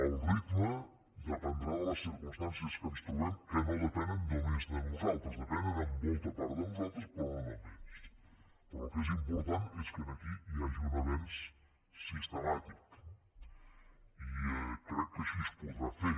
el ritme dependrà de les circumstàncies en què ens trobem que no depenen només de nosaltres depenen en molta part de nosaltres però no només però el que és important és que aquí hi hagi un avenç sistemàtic i crec que així es podrà fer